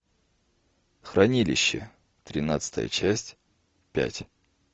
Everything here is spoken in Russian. хранилище тринадцатая часть пять